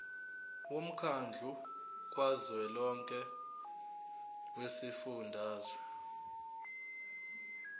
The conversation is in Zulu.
womkhandlu kazwelonke wezifundazwe